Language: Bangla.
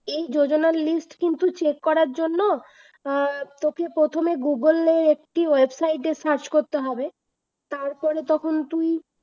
এই যোজনার list কিন্তু check করার জন্য অ্যাঁ তোকে প্রথমে গুগুলের একটি ওয়েবসাইট এ search করতে হবে তারপরে তখন তুই